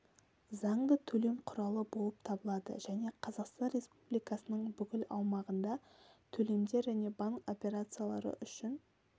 заңды төлем құралы болып табылады және қазақстан республикасының бүкіл аумағында төлемдер және банк операциялары үшін